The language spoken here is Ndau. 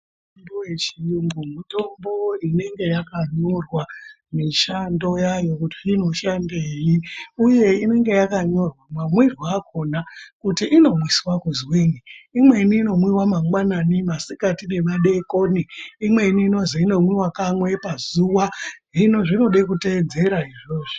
Mitombo yechiyungu mitombo inenge yakanyorwa mishando yayo kuti inoshandei, uye inenge yakanyorwa mamwiryo akona kuti inomwiswa kuzwinyi imweni inomwiva mangwanani, masikati nemadekoni. Imweni inozi inomwiva kamwe pazuva hino zvinoda kutedzera izvozvo